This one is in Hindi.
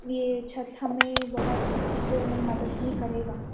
ये छत हमें बहुत ही चीज़ों ने मदत भी करेगा।